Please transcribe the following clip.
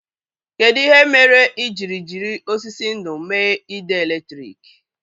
Kedụ ihe mere i jiri jiri osisi ndú mee ide èlétrị̀k?